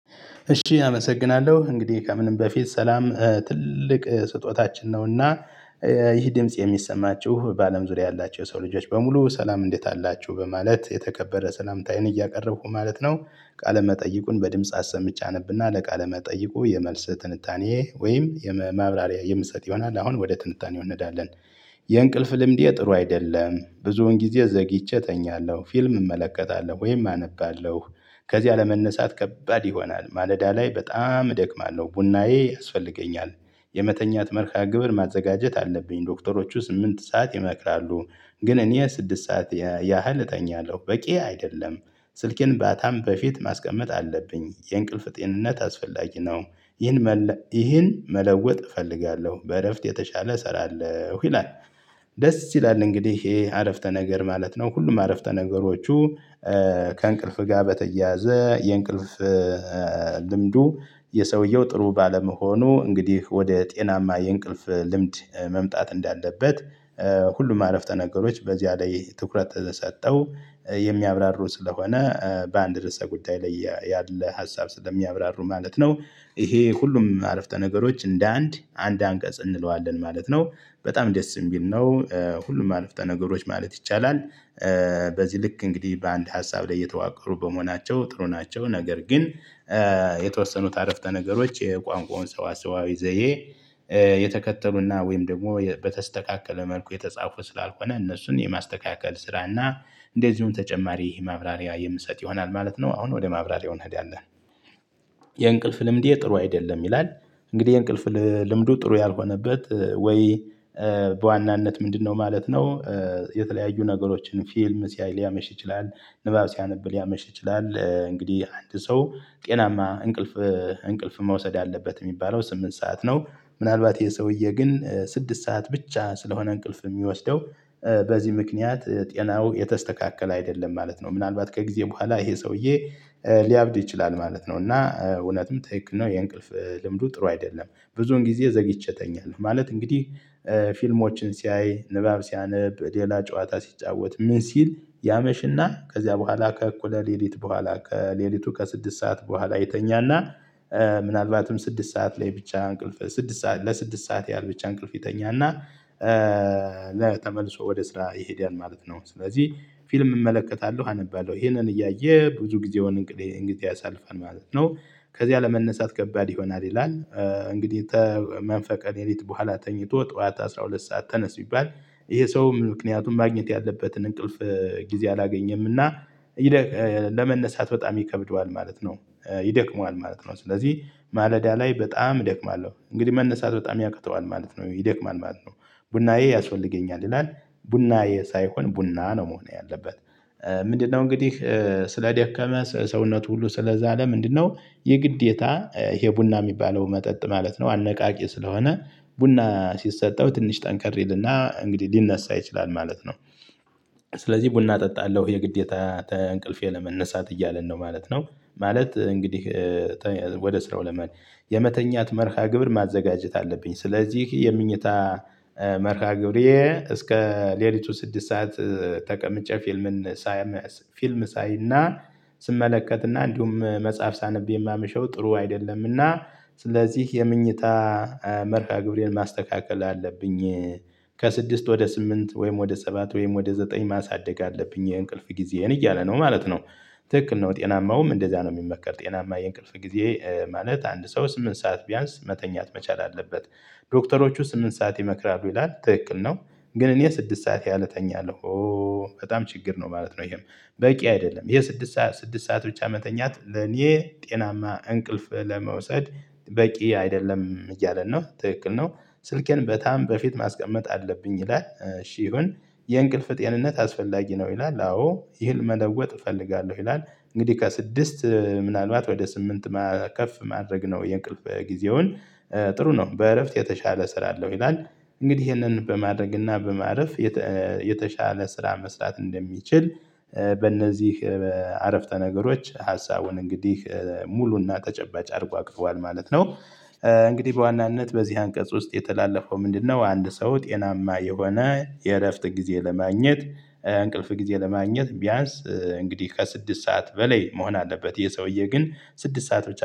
እሺ አመሰግናለሁ እንግዲህ ከምንም በፊት ሰላም ትልቅ ስጦታችን ነው እና ይህ ድምጽ የሚሰማችሁ በአለም ዙሪያ ያላቸው የሰው ልጆች በሙሉ ሰላም እንዴት አላችሁ በማለት የተከበረ ሰላምታዬን እያቀረብኩ ማለት ነው ቃለ መጠይቁን በድምጽ አሰምቼ አነብና ለቃለ መጠይቁ የመልስ ትንታኔ ወይም የመ ማብራሪያ የምሰጥ ይሆናል፤ አሁን ወደ ትንታኔ እንሄዳለን። የእንቅልፍ ልምዴ ጥሩ አይደለም። ብዙውን ጊዜ ዘግይቼ እተኛለሁ። ፊልም እመለከታለሁ ወይም አነባለሁ። ከዚያ ለመነሳት ከባድ ይሆናል። ማለዳ ላይ በጣም እደክማለሁ። ቡናዬ ያስፈልገኛል። የመተኛት መርሃግብር ማዘጋጀት አለብኝ። ዶክተሮቹ ስምንት ሰዓት ይመክራሉ። ግን እኔ ስድስት ሰዓት ያህል እተኛለሁ። በቂ አይደለም ስልኬን ባታም በፊት ማስቀመጥ አለብኝ። የእንቅልፍ ጤንነት አስፈላጊ ነው። ይሄን መል ይህን መለወጥ እፈልጋለሁ። በእረፍት የተሻለ እሰራለሁ ይላል። ደስ ይላል እንግዲህ ይሄ አረፍተ ነገር ማለት ነው ሁሉም አረፍተ ነገሮቹ። ከእንቅልፍ ጋር በተያያዘ የእንቅልፍ ልምዱ የሰውየው ጥሩ ባለመሆኑ እንግዲህ ወደ ጤናማ የእንቅልፍ ልምድ መምጣት እንዳለበት ሁሉም አረፍተ ነገሮች በዚያ ላይ ትኩረት ሰጥተው የሚያብራሩ ስለሆነ በአንድ ርዕሰ ጉዳይ ላይ ያለ ሀሳብ ስለሚያብራሩ ማለት ነው ይሄ ሁሉም አረፍተ ነገሮች እንደ አንድ አንድ አንቀጽ እንለዋለን ማለት ነው። በጣም ደስ የሚል ነው ሁሉም አረፍተ ነገሮች ማለት ይቻላል። በዚህ ልክ እንግዲህ በአንድ ሀሳብ ላይ የተዋቀሩ በመሆናቸው ጥሩ ናቸው፤ ነገር ግን የተወሰኑት አረፍተ ነገሮች የቋንቋውን ሰዋሰዋዊ ዘዬ የተከተሉና ወይም ደግሞ በተስተካከለ መልኩ የተጻፉ ስላልሆነ እነሱን የማስተካከል ስራና እንደዚሁም ተጨማሪ ማብራሪያ የምሰጥ ይሆናል ማለት ነው። አሁን ወደ ማብራሪያው እንሄዳለን። የእንቅልፍ ልምዴ ጥሩ አይደለም ይላል እንግዲህ የእንቅልፍ ልምዱ ጥሩ ያልሆነበት ወይ በዋናነት ምንድነው ማለት ነው የተለያዩ ነገሮችን ፊልም ሲያይ ሊያመሽ ይችላል፣ ንባብ ሲያነብ ሊያመሽ ይችላል፣ እንግዲህ አንድ ሰው ጤናማ እንቅልፍ እንቅልፍ መውሰድ አለበት የሚባለው ስምንት ሰዓት ነው። ምናልባት ይሄ ሰውዬ ግን ስድስት ሰዓት ብቻ ስለሆነ እንቅልፍ የሚወስደው በዚህ ምክንያት ጤናው የተስተካከለ አይደለም ማለት ነው። ምናልባት ከጊዜ በኋላ ይሄ ሰውዬ ሊያብድ ይችላል ማለት ነው፤ እና እውነትም ትክክል ነው የእንቅልፍ ልምዱ ጥሩ አይደለም። ብዙን ጊዜ ዘግይቼ እተኛለሁ ማለት እንግዲህ ፊልሞችን ሲያይ፣ ንባብ ሲያነብ፣ ሌላ ጨዋታ ሲጫወት፣ ምን ሲል ያመሽና ከዚያ በኋላ ከእኩለ ሌሊት በኋላ ከሌሊቱ ከስድስት ሰዓት በኋላ ይተኛና ምናልባትም ስድስት ሰዓት ላይ ብቻ አንቅልፍ ስድስት ሰዓት ለስድስት ሰዓት ያህል ብቻ እንቅልፍ ይተኛና ለ ተመልሶ ወደ ስራ ይሄዳል ማለት ነው። ስለዚህ ፊልም እመለከታለሁ አነባለሁ ይሄንን እያየ ብዙ ጊዜውን እንግዲህ እንግዲህ ያሳልፋል ማለት ነው። ከዚያ ለመነሳት ከባድ ይሆናል ይላል። እንግዲህ ተመንፈቅ ሌሊት በኋላ ተኝቶ ጠዋት አስራ ሁለት ሰዓት ተነስ ቢባል ይሄ ሰው ምክንያቱም ማግኘት ያለበትን እንቅልፍ ጊዜ አላገኘም እና ይደክ ለመነሳት በጣም ይከብደዋል ማለት ነው። ይደክመዋል ማለት ነው። ስለዚህ ማለዳ ላይ በጣም እደክማለሁ። እንግዲህ መነሳት በጣም ያቅተዋል ማለት ነው ይደክማል ማለት ነው። ቡናዬ ያስፈልገኛል ይላል። ቡናዬ ሳይሆን ቡና ነው መሆን ያለበት። ምንድነው እንግዲህ ስለደከመ ሰውነቱ ሁሉ ስለዛለ ምንድነው የግዴታ ይሄ ቡና የሚባለው መጠጥ ማለት ነው አነቃቂ ስለሆነ ቡና ሲሰጠው ትንሽ ጠንካራ ይልና እንግዲህ ሊነሳ ይችላል ማለት ነው። ስለዚህ ቡና እጠጣለሁ የግዴታ ተእንቅልፌ ለመነሳት እያለን ነው ማለት ነው። ማለት እንግዲህ ወደ ስራው ለመሄድ የመተኛት መርሃ ግብር ማዘጋጀት አለብኝ። ስለዚህ የመኝታ መርሃ ግብሬ እስከ ሌሊቱ ስድስት ሰዓት ተቀምጬ ፊልምን ሳይ ፊልም ሳይና ስመለከትና እንዲሁም መጽሐፍ ሳነብ የማመሸው ጥሩ አይደለምና ስለዚህ የመኝታ መርሃ ግብሬን ማስተካከል አለብኝ። ከስድስት ወደ ስምንት ወይም ወደ ሰባት ወይም ወደ ዘጠኝ ማሳደግ አለብኝ የእንቅልፍ ጊዜዬን እያለ ነው ማለት ነው ትክክል ነው ጤናማውም እንደዚያ ነው የሚመከር ጤናማ የእንቅልፍ ጊዜ ማለት አንድ ሰው ስምንት ሰዓት ቢያንስ መተኛት መቻል አለበት። ዶክተሮቹ ስምንት ሰዓት ይመክራሉ ይላል ትክክል ነው። ግን እኔ ስድስት ሰዓት ያህል እተኛለሁ። በጣም ችግር ነው ማለት ነው ይሄም በቂ አይደለም የስድስት ሰዓት ስድስት ሰዓት ብቻ መተኛት ለኔ ጤናማ እንቅልፍ ለመውሰድ በቂ አይደለም እያለን ነው ትክክል ነው። ስልኬን በታም በፊት ማስቀመጥ አለብኝ ይላል። እሺ ይሁን፣ የእንቅልፍ ጤንነት አስፈላጊ ነው ይላል፤ አዎ። ይህን መለወጥ እፈልጋለሁ ይላል። እንግዲህ ከስድስት ምናልባት ወደ ስምንት ማ ከፍ ማድረግ ነው የእንቅልፍ ጊዜውን ጥሩ ነው በእረፍት የተሻለ ሰራለሁ ይላል እንግዲህ ይሄንን በማድረግና በማረፍ የተ የተሻለ ስራ መስራት እንደሚችል በእነዚህ በአረፍተ ነገሮች ሀሳቡን እንግዲህ ሙሉና ተጨባጭ አድርጎ አቅቧል ማለት ነው። እንግዲህ በዋናነት በዚህ አንቀጽ ውስጥ የተላለፈው ምንድነው አንድ ሰው ጤናማ የሆነ የእረፍት ጊዜ ለማግኘት እንቅልፍ ጊዜ ለማግኘት ቢያንስ እንግዲህ ከስድስት ሰዓት በላይ መሆን አለበት። ይሄ ሰውዬ ግን ስድስት ሰዓት ብቻ